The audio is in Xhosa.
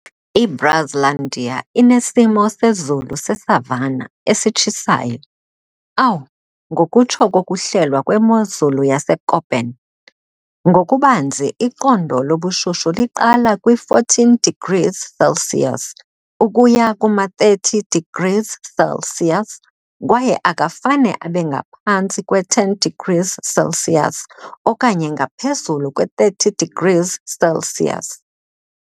I-Brazlandia inesimo sezulu se-savanna esitshisayo, "Aw", ngokutsho kokuhlelwa kwemozulu yaseKöppen. Ngokubanzi, iqondo lobushushu liqala kwi-14 degrees Celsius ukuya kuma-30 degrees Celsius kwaye akafane abe ngaphantsi kwe-10 degrees Celsius okanye ngaphezulu kwe-30 degrees Celsius.